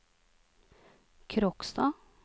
Kråkstad